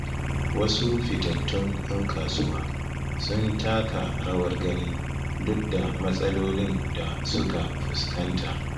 Wasu fitattun ‘yan kasuwa sun taka rawar gani duk da matsalolin da suka fuskanta.